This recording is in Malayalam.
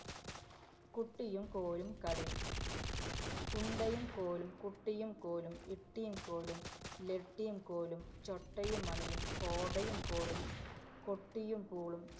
കുട്ടിയും കോലും കളി ഉണ്ടയും കോലും, കുട്ടിയും കോലും, ഇട്ടീം കോലും, ലട്ടീം കോലും, ചൊട്ടയും മണിയും, കോടയും കോലും, കൊട്ടിയും പൂളും,